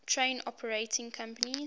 train operating companies